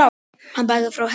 Hann bakkar frá henni.